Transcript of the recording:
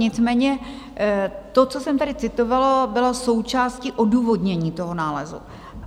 Nicméně to, co jsem tady citovala, bylo součástí odůvodnění toho nálezu.